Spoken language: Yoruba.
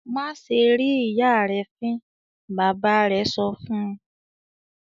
"Má ṣe rín ìyá rẹ fín!" Bàbá rẹ̀ sọ fún un.